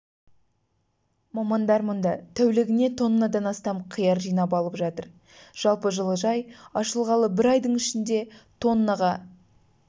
мамандар мұнда тәулігіне тоннадан астам қияр жинап алып жатыр жалпы жылыжай ашылғалы бір айдың ішінде тоннаға